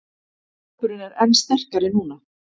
Hópurinn er enn sterkari núna